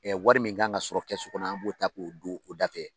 wari min kan ka sɔrɔ kɛsu kɔnɔ an b'o ta k'o don o da fɛ.